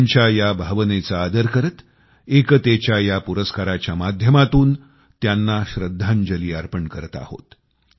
त्यांच्या त्या भावनेचा आदर करत एकतेच्या या पुरस्काराच्या माध्यमातून त्यांना श्रद्धांजली अर्पण करत आहोत